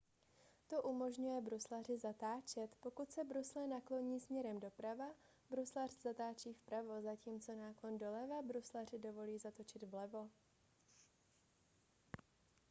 to umožňuje bruslaři zatáčet pokud se brusle nakloní směrem doprava bruslař zatáčí vpravo zatímco náklon doleva bruslaři dovolí zatočit vlevo